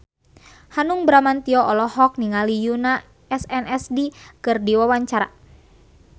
Hanung Bramantyo olohok ningali Yoona SNSD keur diwawancara